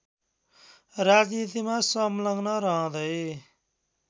राजनीतिमा संलग्न रहँदै